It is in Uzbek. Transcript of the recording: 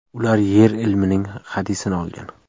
Ular yer ilmining hadisini olgan.